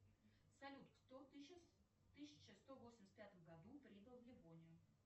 салют кто в тысяча сто восемьдесят пятом году прибыл в ливонию